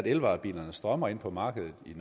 elvarebilerne strømmer ind på markedet i